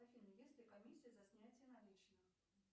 афина есть ли комиссия за снятие наличных